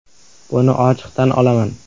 «“Buni ochiq tan olaman.